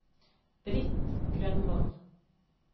Britt Grønvold